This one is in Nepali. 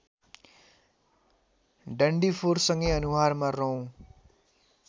डन्डीफोरसँगै अनुहारमा रौँ